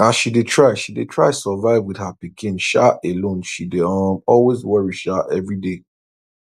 as she dey try she dey try survive with her pikin um alone she dey um always worry um every day